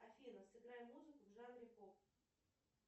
афина сыграй музыку в жанре поп